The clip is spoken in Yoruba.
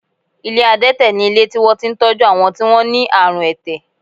Ilé adẹ́tẹ̀ ni ilé tí wọ́n ti ń tọ́jú àwọn tí wọ́n ní àrùn ẹ̀tẹ̀